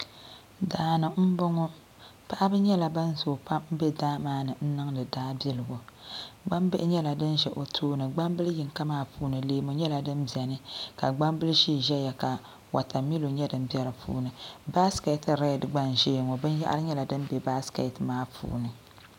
Daani m boŋɔ paɣab. nyɛla ban zoogi pam be daa maa ni n niŋdi daa biligu gbambihi nyɛla din za o tooni gbambili yinka maa puuni leemu nyɛla fin be dinni ka gbambili ʒee ʒɛya ka watamilo nyɛ din be dipuuni baasiketi redi gba n ʒɛya ŋɔ binyɛhari nyɛla din be baasiketi maa puuni.